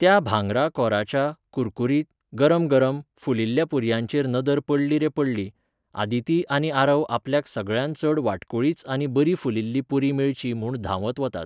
त्या भांगरा कोराच्या, कुरकुरीत, गरमगरम, फुलिल्ल्या पुरयांचेर नदर प़डली रे पडली, आदिती आनी आरव आपल्याक सगळ्यांत चड वाटकुळीच आनी बरी फुलिल्ली पुरी मेळची म्हूण धांवत वतात.